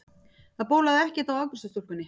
Það bólaði ekkert á afgreiðslustúlkunni.